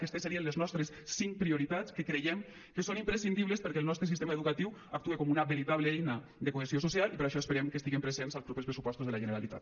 aquestes serien les nostres cinc prioritats que creiem que són imprescindibles perquè el nostre sistema educatiu actuï com una veritable eina de cohesió social i per això esperem que estiguin presents als propers pressupostos de la generalitat